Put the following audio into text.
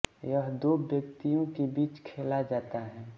यह दो व्यक्तियों के बीच खेला जाता है